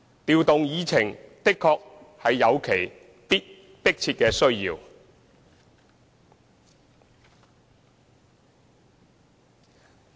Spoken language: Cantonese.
調動議程確實有其迫切的需要。